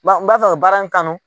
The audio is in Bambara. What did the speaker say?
N b'a, nb'a fɛ ka baara in kanu.